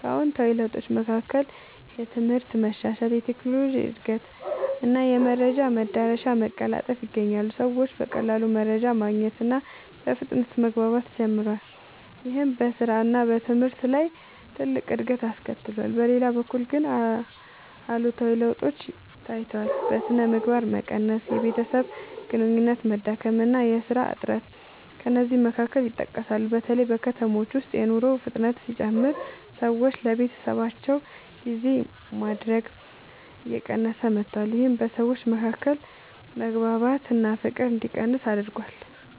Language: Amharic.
ከአዎንታዊ ለውጦች መካከል የትምህርት መሻሻል፣ የቴክኖሎጂ እድገት እና የመረጃ መዳረሻ መቀላጠፍ ይገኛሉ። ሰዎች በቀላሉ መረጃ ማግኘት እና በፍጥነት መግባባት ጀምረዋል። ይህም በስራ እና በትምህርት ላይ ትልቅ እድገት አስከትሏል። በሌላ በኩል ግን አሉታዊ ለውጦችም ታይተዋል። የሥነ ምግባር መቀነስ፣ የቤተሰብ ግንኙነት መዳከም እና የሥራ እጥረት ከእነዚህ መካከል ይጠቀሳሉ። በተለይ በከተሞች ውስጥ የኑሮ ፍጥነት ሲጨምር ሰዎች ለቤተሰባቸው ጊዜ ማድረግ እየቀነሰ መጥቷል። ይህም በሰዎች መካከል መግባባት እና ፍቅር እንዲቀንስ አድርጓል።